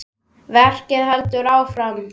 Verkið heldur áfram.